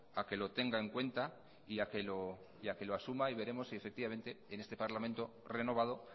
a que lo tenga en cuenta y a que lo asuma y veremos si en este parlamento renovado